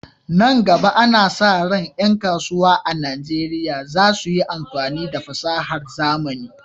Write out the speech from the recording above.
Nan gaba, ana sa ran ƴan kasuwa a Najeriya za su yi amfani da fasahar zamani